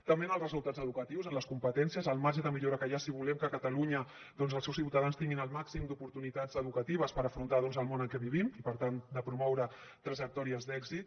també en els resultats educatius en les competències el marge de millora que hi ha si volem que catalunya doncs els seus ciutadans tinguin el màxim d’oportunitats educatives per afrontar el món en què vivim i per tant de promoure trajectòries d’èxit